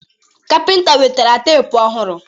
Kapịnta wetara teepu ọhụrụ